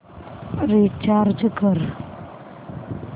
recharge कर